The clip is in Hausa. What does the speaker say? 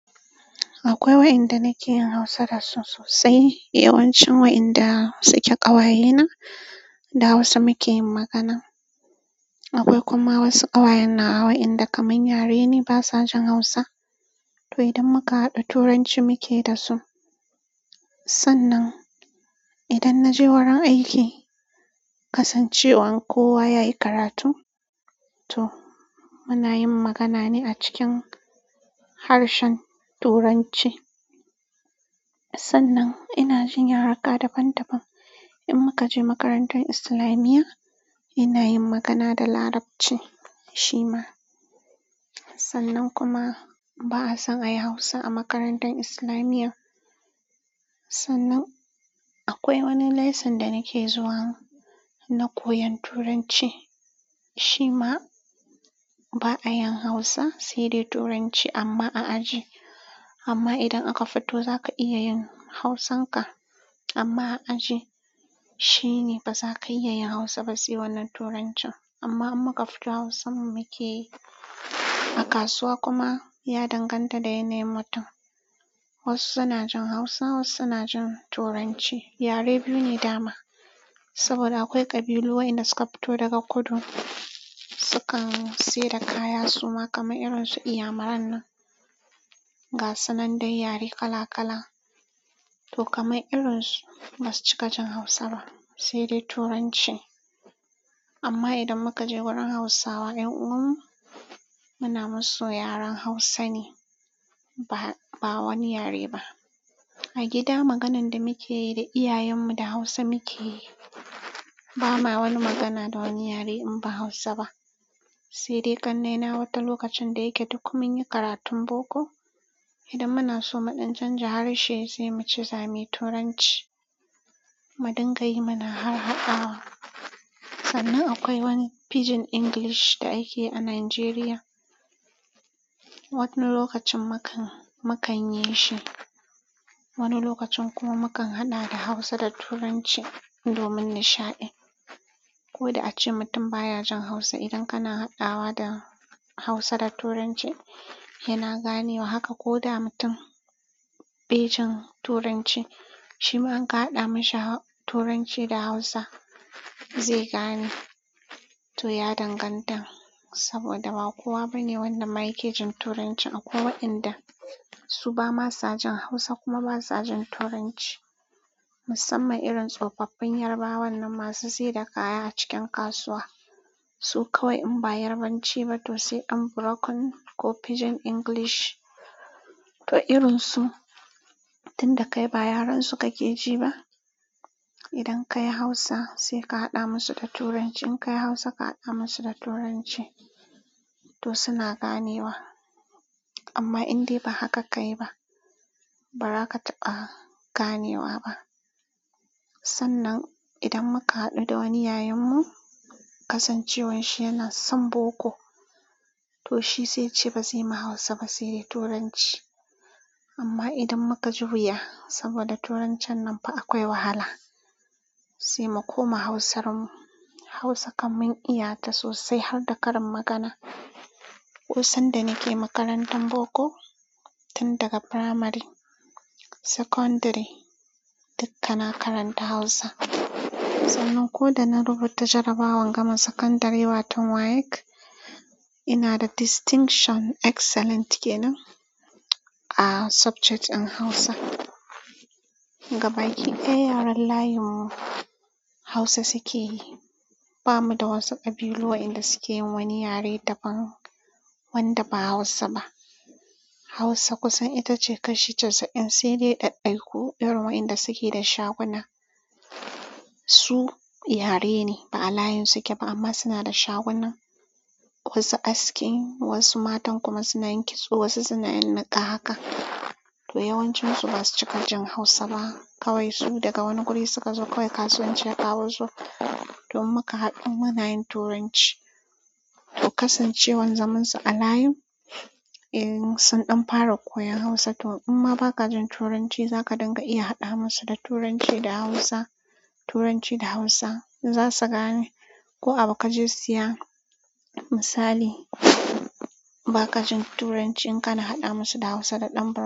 Akwai waɗanda nake yin hausa dasu sosai yawancin waɗanda suke ƙawayena da hausa muke yin magana akwai kuma wasu ƙawaye na waɗanda kaman yare ne, ba sa jin Hausa. To, idan muka haɗu, Turanci muke da su. Sannan idan na je wurin aiki, kasancewar kowa yayi karatu, to muna yin magana ne a cikin harshen Turanci. Sannan ina jin yarurruka daban daban. In muka je makarantar Islamiyya, ina yin magana da Larabci shima. Sannan kuma ba'a son a yi Hausa a makarantar Islamiyya. Sannan akwai wani lesson da nake zuwa na koyon Turanci. Shima ba'a yin Hausa, sai dai Turanci amma a aji. Amma idan aka fito za ka iya yin Hausanka. Amma a aji shi ne baza ka iya yin hausa ba sai wannan turancin amma muka fito Hausar mu muke yi. A kasuwa kuma ya danganta da yanayin mutum. Wasu suna jin Hausa, wasu suna jin Turanci. Yare biyu ne dama. Saboda akwai ƙabilu waɗanda suka fito daga kudu, sukan sayar da kaya suma kamar irin su inyamuran nan, gasu nan dai yare kala kala. To, kamar irin su ba su cika jin Hausa ba, sai dai Turanci. Amma idan muka je wajen hausawa ƴan uwanmu muna musu yaren hausa ne ba wani yare ba a gida maganar da muke yi da iyayen mu da Hausa muke yi. Ba ma wani magana da wani yare in ba Hausa ba. Sai dai ƙannena wani lokacin da yake duk mun yi karatun boko. Idan muna so muɗan chanja harshe sai muce zamu yi Turanci, mu dinga yi. Muna har haɗawa. Sannan akwai wani pidgin English da ake yi a Najeriya. Wani lokacin mu kan, mu kan yi shi. Wani lokacin kuma mu kan haɗa da Hausa da Turanci domin nishaɗi. Ko da a ce mutum baya jin Hausa, idan kana haɗawa da Hausa da Turanci yana ganewa. Haka ko da mutum be jin Turanci, shi ma in ka haɗa mashi Turanci da Hausa zai gane. To, ya danganta. Saboda ba kowa bane wanda ma ya ke jin Turanci akwai waɗanda su ba ma sa jin Hausa kuma ba sa jin Turanci. Musamman irin tsofaffin Yarabawan nan masu sayar da kaya a cikin kasuwa. Su kawai in ba Yarabanci ba to sai ɗan broken ko pidgin English. To, irin su tun da kai ba yaren su ka ke ji ba. Idan ka yi Hausa sai ka haɗa musu da Turanci. In ka yi Hausa ka haɗa musa da Turanci to suna ganewa. Amma in dai ba haka ka yi ba, ba za ka taɓa ganewa ba. Sannan idan muka haɗu da wani yayan mu, kasancewan shi yana son boko. To, shi sai yace ba zai ma Hausa ba sai dai Turanci. Amma idan muka juya saboda Turancin nan fa akwai wahala, sai mu koma Hausar mu. Hausa kam mun iya ta sosai har da karin magana. Ko san da nake makarantar boko tun daga primary, secondary dukkan na karanta Hausa. Sannan ko da na rubuta jarabawar gama sakandare wato WAEC, ina da distinction excellent ke nan a subject ɗin Hausa. Gabaki ɗaya yaren layin mu Hausa suke yi. Ba mu da wasu ƙabilu waɗanda suke yin wani yare daban wanda ba Hausa ba. Hausa kusan ita ce kashi casa in sai dai ɗaiɗaiku irin waɗanda suke da shaguna. Su yare ne ba a layin su ke ba amma suna da shaguna. Wasu aski, wasu matan kuma suna yin kitso, wasu suna yin niƙa haka. To, yawancin su ba su ci gajin Hausa ba. Kawai su daga wani guri suka zo, kawai kasuwanci ya ƙawo su. To, in muka haɗu muna yin Turanci. To, kasancewan zaman su a layin sun ɗan fara koyon Hausa. To, in ma ba ka jin Turanci za ka dinga iya haɗa musu da Turanci da Hausa. Turanci da Hausa za su gane. Ko a bu ka je siya misali ba ka jin Turanci in ka na haɗa musu da Hausa da ɗan broken.